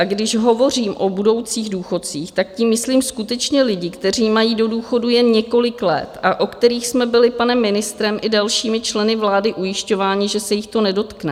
A když hovořím o budoucích důchodcích, tak tím myslím skutečně lidi, kteří mají do důchodu jen několik let a o kterých jsme byli panem ministrem i dalšími členy vlády ujišťováni, že se jich to nedotkne.